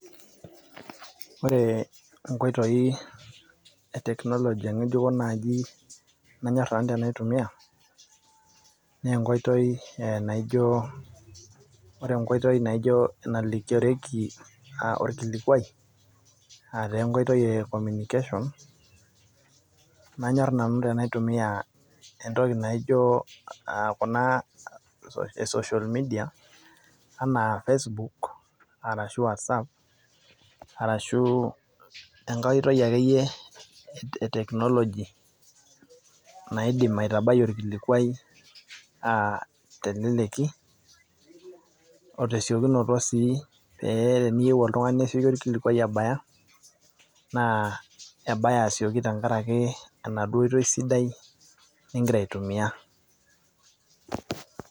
ore inkoitoi e technology ngejuko nayieu nanu naitumia, naa enkoitoi naijo. ore enkoitoi naijo, enalikirioki olkilikuai, aa taa enkotoi e communication nanyor nanu tenaitumia, entoki naijo kuna e social media anaa, facebook ashu wasap, arashu enkae oitoi akeyie e technology naidim aitabai orkilikuai teleleki, otesiokinoto si paa teniyieu oltungani nesioki orkilikuai abaya. naa ebaya asioki tenkaraki enaduoo oitoi sidai nigira aitumia